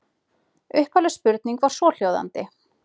Upphafleg spurning var svohljóðandi: